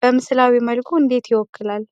በምስላዊ መልኩ እንዴት ይወክላል?